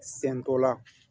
Sɛn dɔ la